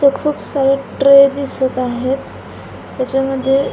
इथे खूप सारे ट्रे दिसत आहेत त्याच्यामध्ये --